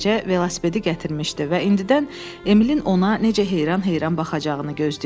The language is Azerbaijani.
Beləcə velosipedi gətirmişdi və indidən Emilin ona necə heyran-heyran baxacaqığını gözləyirdi.